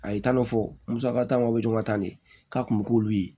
A ye taa dɔ fɔ musakatabɔla ta de ye k'a kun bɛ k'olu ye